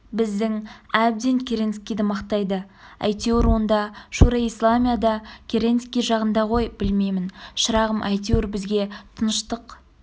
біздің әбден керенскийді мақтайды әйтеуір онда шуро-и-исламия да керенский жағында ғой білмеймін шырағым әйтеуір бізге тыныштық